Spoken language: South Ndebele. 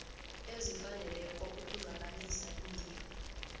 ezifaneleko ukuzwakalisa iinlilo